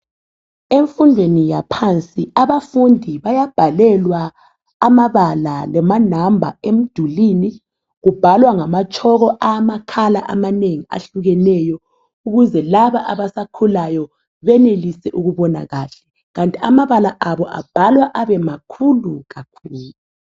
Emfundweni yaphansi abafundi bayabhalelwa amabala lama number emdulini. Kubhalwa ngamatshoko angama color amanengi ahlukeneyo ukwenzela ukuthi laba abasakhulayo benelise ukubona kahle kanti amabala abo abhalwa abemalhulu kakhulu.